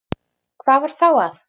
Hvað var þá að?